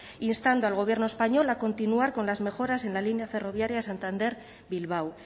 instando al gobierno español a continuar con las mejoras en la línea ferroviaria de santander bilbao